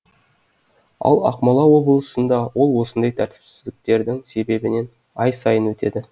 ал ақмола облысында ол осындай тәртіпсіздіктердің себебінен ай сайын өтеді